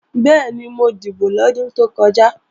Bẹ́ẹ̀ni, mo dìbò lọ́dún tó kọjá